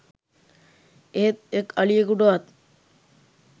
එහෙත් එක් අලියකුටවත්